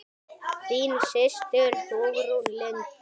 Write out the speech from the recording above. Þín systir Hugrún Lind.